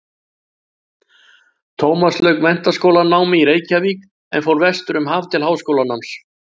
Tómas lauk menntaskólanámi í Reykjavík en fór vestur um haf til háskólanáms.